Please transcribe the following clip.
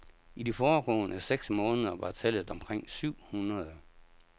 I de foregående seks måneder var tallet omkring syv hundrede.